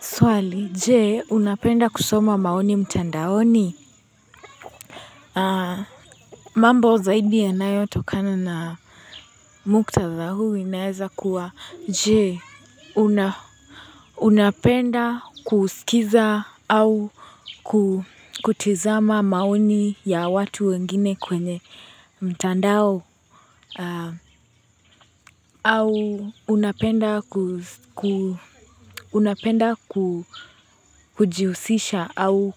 Swali je, unapenda kusoma maoni mtandaoni mambo zaidi yanayotokana na muktadha huu inaeza kuwa je, una unapenda kuskiza au ku kutizama maoni ya watu wengine kwenye mtandao au unapenda ku ku unapenda ku kujihusisha au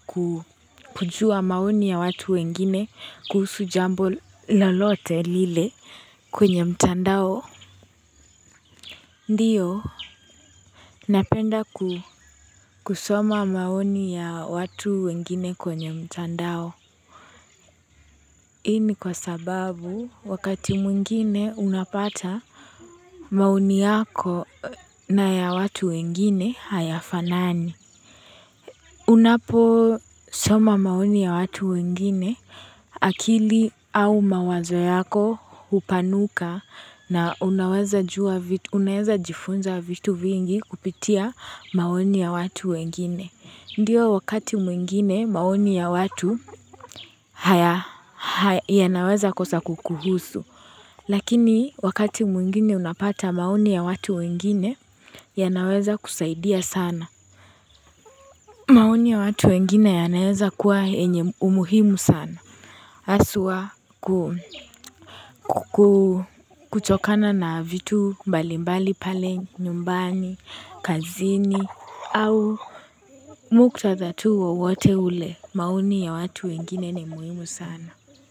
kujua maoni ya watu wengine kuhusu jambo lolote lile kwenye mtandao Ndio, napenda ku kusoma maoni ya watu wengine kwenye mtandao Hii ni kwa sababu wakati mwingine unapata maoni yako na ya watu wengine hayafanani. Unapo soma maoni ya watu wengine akili au mawazo yako hupanuka na unaweza jua vitu unaweza jifunza vitu vingi kupitia maoni ya watu wengine. Ndio wakati mwingine maoni ya watu haya yanaweza kosa kukuhusu, lakini wakati mwingine unapata maoni ya watu wengine ya naweza kusaidia sana. Maoni ya watu wengine yanaeza kuwa yenye umuhimu sana. Haswa ku kuchokana na vitu mbalimbali pale, nyumbani, kazini, au muktadha tu wowote ule. Maoni ya watu wengine ni muhimu sana.